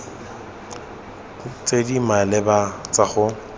tse di maleba tsa go